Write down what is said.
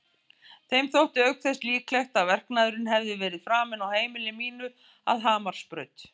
Þeim þótti auk þess líklegt að verknaðurinn hefði verið framinn á heimili mínu að Hamarsbraut.